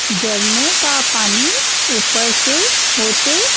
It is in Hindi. जरने का पानी ऊपर से होते--